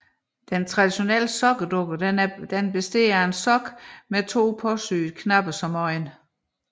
Den traditionelle sokkedukke er bestående af en sok med to påsyede knapper som øjne